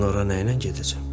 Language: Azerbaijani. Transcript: Mən ora nə ilə gedəcəm?